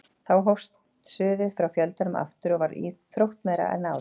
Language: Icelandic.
Þá hófst suðið frá fjöldanum aftur og var þróttmeira en áður.